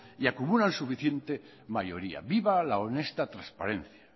y acumulan suficiente mayoría viva la honesta transparencia